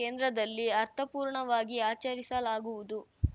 ಕೇಂದ್ರದಲ್ಲಿ ಅರ್ಥಪೂರ್ಣವಾಗಿ ಆಚರಿಸಲಾಗುವುದು